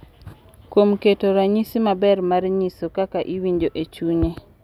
Kuom keto ranyisi maber mar nyiso kaka iwinjo e chunye